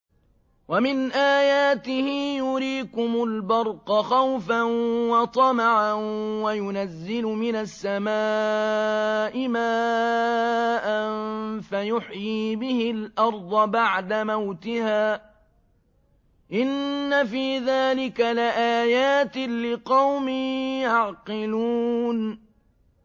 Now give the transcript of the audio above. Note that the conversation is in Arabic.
وَمِنْ آيَاتِهِ يُرِيكُمُ الْبَرْقَ خَوْفًا وَطَمَعًا وَيُنَزِّلُ مِنَ السَّمَاءِ مَاءً فَيُحْيِي بِهِ الْأَرْضَ بَعْدَ مَوْتِهَا ۚ إِنَّ فِي ذَٰلِكَ لَآيَاتٍ لِّقَوْمٍ يَعْقِلُونَ